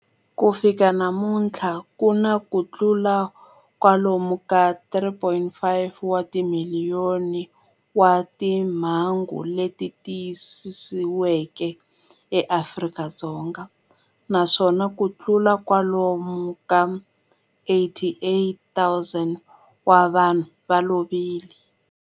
Ku fika namuntlha ku na kutlula kwalomu ka 3.5 wa timiliyoni wa timhangu leti tiyisisiweke eAfrika-Dzonga, naswona kutlula kwalomu ka 88,000 wa vanhu va lovile.